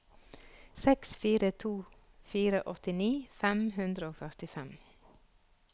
seks fire to fire åttini fem hundre og førtifem